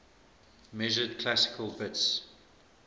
measured classical bits